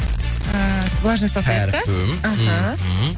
ыыы влажная салфетка іхі